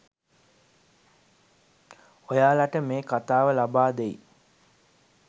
ඔයාලට මේ කතාව ලබාදෙයි.